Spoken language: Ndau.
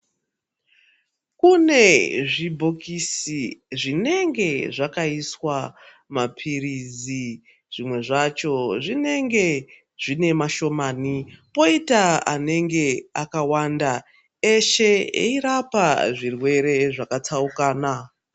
Kune zvibhokisi zvinenge zvakaiswa maphirizi. Zvimwe zvacho zvonenge zvine mashomani poita anenge akawanda eshe eirapa zvirwere zvakatsaukana.